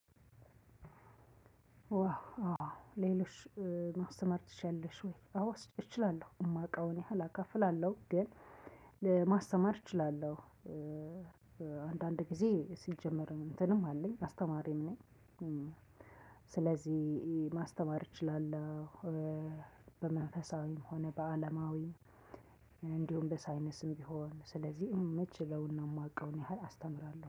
ዋ ሌሎች ማስተማር ትችያለሽ ወይ? አዎ እችላለሁ የማውቀውን ያህል አካፍላለሁ ግን ለማስተማር እችላለሁ። አንዳንድ ጊዜ ሲጀመር እንትንም አለኝ አስተማሪም ነኝ። ስለዚህ ማስተማር እችላለሁ። በመንፈሳዊም ሆነ በአለማዊም እንዲሁም በሳይንስም ቢሆን ስለዚህ ምችለውና የማቀውን ያህል አስተምራለሁ